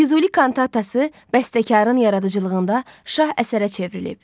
Füzuli kantatası bəstəkarın yaradıcılığında şah əsərə çevrilib.